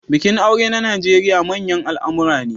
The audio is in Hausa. Bikin aure a Najeriya manyan al'amura ne.